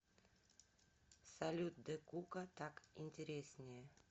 салют дэкука так интереснее